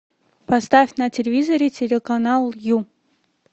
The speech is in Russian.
поставь на телевизоре телеканал ю